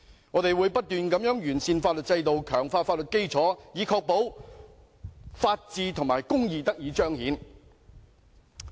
我們會不斷完善法律制度，強化法律基建，以確保......公義得以彰顯。